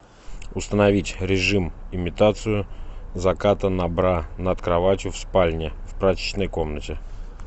установить режим имитацию заката на бра над кроватью в спальне в прачечной комнате